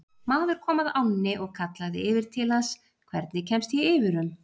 Maður kom að ánni og kallaði yfir til hans: Hvernig kemst ég yfir um?